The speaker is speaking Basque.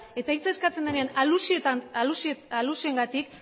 eta hitza eskatzen denean alusioengatik